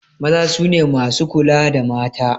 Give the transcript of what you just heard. Maza su ne masu kula da mata.